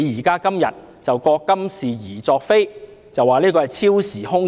他今天覺今是而昨非，說這要求之高是超越時空的。